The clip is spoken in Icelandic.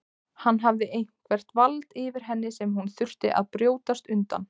Hann hafði eitthvert vald yfir henni sem hún þurfti að brjótast undan.